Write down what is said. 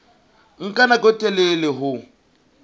nka nako e telele ho